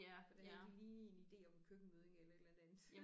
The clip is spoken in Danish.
Hvordan de lige en ide om en køkkenmødding eller et eller andet andet